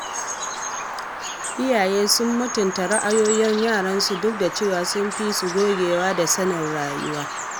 Iyaye su mutunta ra’ayoyin yaransu duk da cewa sun fi su gogewa da sanin rayuwa..